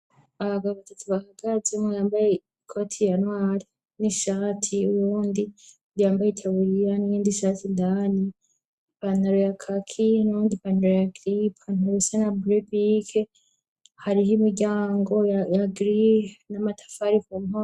Ahagababazi ati bahagazemwo yambaye ikoati i yanwari n'ishati wondi ndiyambaye itaburiya ningendi ishati indani pantaro ya kaki nondi i pantaro ya gripa antarusia na burebike hariho imiryango agri namatafarifomp.